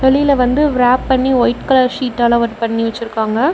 வெளில வந்து விராப் பண்ணி வைட் கலர் சீட்டல ஒர்க் பண்ணி வச்சிருக்காங்க.